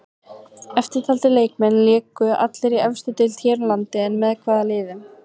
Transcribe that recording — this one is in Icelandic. Eftirtaldir leikmenn léku allir í efstu deild hér á landi en með hvaða liðum?